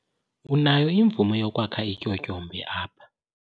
Unayo imvume yokwakha ityotyombe apha!